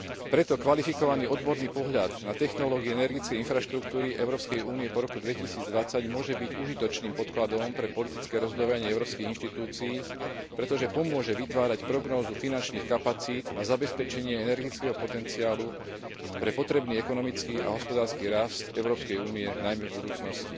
Preto kvalifikovaný odborný pohľad na technológie energetickej infraštruktúry Európskej únie po roku 2020 môže byť užitočným podkladom pre politické rozhodovanie európskych inštitúcií, pretože pomôže vytvárať prognózu finančných kapacít na zabezpečenie energetického potenciálu pre potrebný ekonomický a hospodársky rast Európskej únie, najmä v budúcnosti.